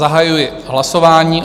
Zahajuji hlasování.